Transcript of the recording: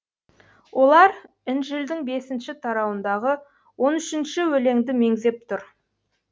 олар інжілдің бесінші тарауындағы оң үшінші өлеңді меңзеп тұр